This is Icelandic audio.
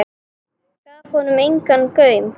Gaf honum engan gaum.